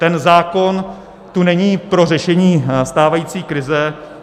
Ten zákon tu není pro řešení stávající krize.